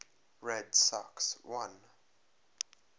red sox won